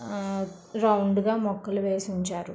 ఆహ్ రౌండ్ గా మొక్కలు వేసి ఉంచారు.